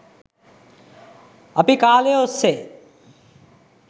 අපි කාලය ඔස්සේ